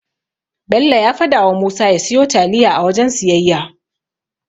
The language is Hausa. Bello ya fadawa Musa ya siyo taliya a wajen siyayya.